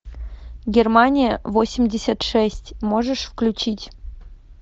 германия восемьдесят шесть можешь включить